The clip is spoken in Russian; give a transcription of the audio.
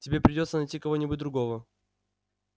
тебе придётся найти кого-нибудь другого